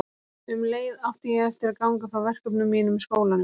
Um leið átti ég eftir að ganga frá verkefnum mínum í skólanum.